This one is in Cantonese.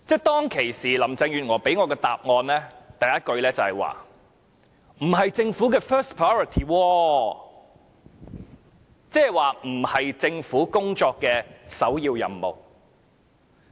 當時，林鄭月娥給予我的首句答覆，就是說這不是政府的 first priority， 意思是這並非政府工作的首要任務。